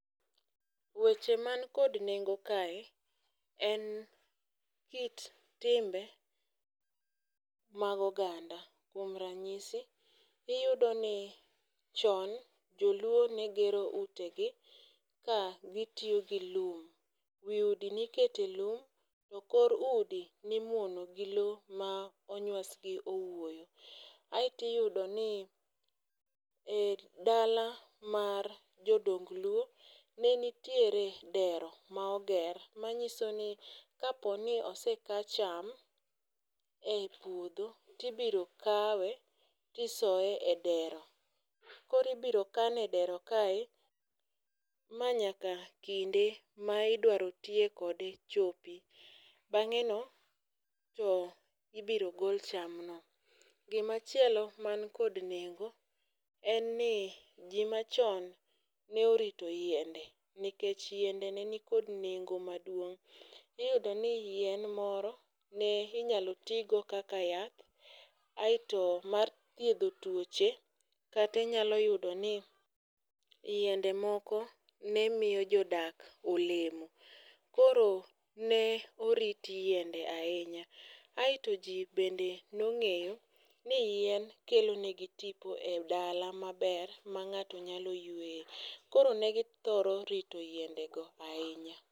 Weche man kod nengo kae en kit timbe mag oganda kuom ranyisi, iyudo ni, chon joluo negero utegi ka gitiyo gi lum, wi udi nikete lum, to kor udi nimuono gi lowo ma onyuasgi ouoyo. Aeto iyudo ni e dala mar jodong luo ne nitiere dero ma oger manyiso ni kapo ni oseka cham e puodho, tibiro kawe tisoe e dero. Kor ibiro kane edero kae, manyaka kinde ma idwaro tie kod chopi. Bang'e no, to ibiro gol chamno. Gima chielo man kod nengo en ni jii machon ne orito yiende, nikech yiende ne nikod nengo maduong'. Iyudo ni yien moro ne inyalo tigo kaka yath, aeto mar thiedho tuoche, kata inyalo yudo ni yiende moko ne miyo jodak olemo. Koro ne oriti yende ahinya. Aeto ji bende nong'eyo ni yien kelo negitipo e dala maber mang'ato nyalo yweyo, koro negithoro rito yiendego ahinya.